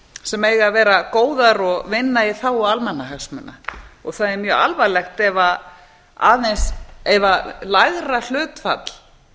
sem eiga að vera góðar og vinna í þágu almannahagsmuna og það er mjög alvarlegt ef lægra hlutfall